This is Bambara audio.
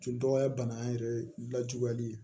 Cɛ dɔgɔya banan yɛrɛ lajuguyali ye